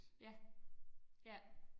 Ja, ja